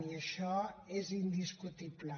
i això és indiscutible